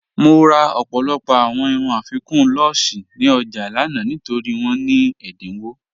Mo rà ọ̀pọ̀lọpọ̀ awọn irùn afíkun lúṣẹ̀ ní ọjà lànà nítorí wọn ní ẹdínwọ̀.